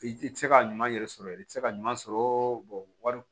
I tɛ se ka ɲuman yɛrɛ sɔrɔ i tɛ se ka ɲuman sɔrɔ wari